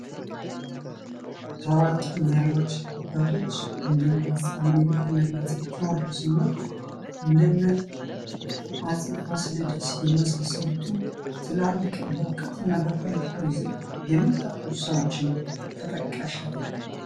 ታዋቂ መሪዎች አባቶች እንደ እነ አፄ ሚኒሊክ እንደ እነ አፄ ቴወድሮስ እና እንደ እነ አፄ ፋሲለደስ የመሳሰሉትን ትላልቅ በእዉቀት እና በፖለቲካዉ ዘርፍ የመጠቁ ሰዎችን ተጠቃሽ ያደርጋል።